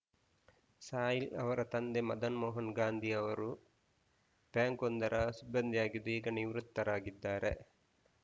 ಸಾಹಿಲ್‌ ಅವರ ತಂದೆ ಮದನ್‌ ಮೋಹನ್‌ ಗಾಂಧಿ ಅವರು ಬ್ಯಾಂಕ್‌ ಒಂದರ ಸಿಬ್ಬಂದಿಯಾಗಿದ್ದು ಈಗ ನಿವೃತ್ತರಾಗಿದ್ದಾರೆ